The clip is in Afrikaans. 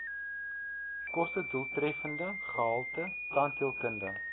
kostedoeltreffende gehalte tandheelkunde